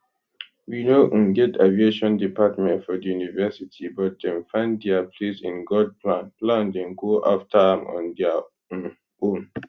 we no um get aviation department for di university but dem find dia place in god plan plan dem go afta am on dia um own